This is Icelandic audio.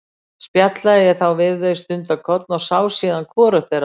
Spjallaði ég þá við þau stundarkorn og sá síðan hvorugt þeirra framar.